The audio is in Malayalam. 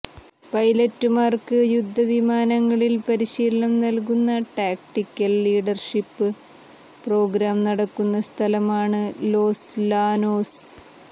പൈലറ്റുമാർക്ക് യുദ്ധവിമാനങ്ങളിൽ പരീശീലനം നൽകുന്ന ടാക്ടിക്കൽ ലീഡർഷീപ്പ് പ്രോഗ്രാം നടക്കുന്ന സ്ഥലമാണ് ലോസ് ലാനോസ്